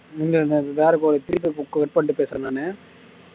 cut பண்ணிட்டு பேசறேன் நானு